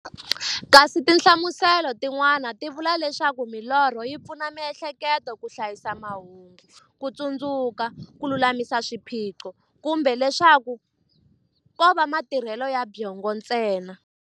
Kasi tinhlamuselo ti n'wana ti vula leswaku milorho yi pfuna mi'hleketo ka hlayisa mahungu, kutsundzuka, kululamisa swiphiqo, kumbe leswaku kova matirhele ya byongo ntsena.